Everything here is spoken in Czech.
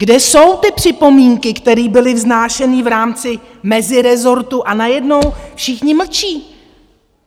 Kde jsou ty připomínky, které byly vznášeny v rámci mezirezortu, a najednou všichni mlčí!